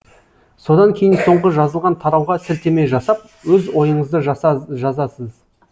содан кейін соңғы жазылған тарауға сілтеме жасап өз ойыңызды жазасыз